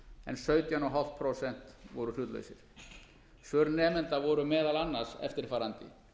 en sautján komma fimm prósent voru hlutlausir svör nemenda voru meðal annars eftirfarandi